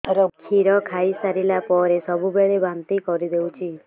କ୍ଷୀର ଖାଇସାରିଲା ପରେ ସବୁବେଳେ ବାନ୍ତି କରିଦେଉଛି